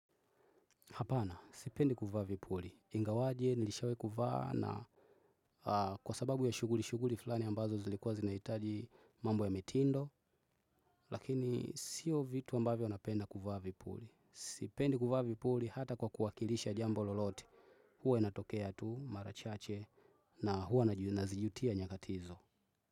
Hapana, sipendi kuvaa vipuli. Ingawaje, nilishawai kuvaa na kwa sababu ya shughuli, shughuli fulani ambazo zilikuwa zinahitaji mambo ya mitindo. Lakini sio vitu ambavyo napenda kuvaa vipuli. Sipendi kuvaa vipuli hata kwa kuwakilisha jambo lolote. Huwa inatokea tu, mara chache, na huwa nazijutia nyakati hizo.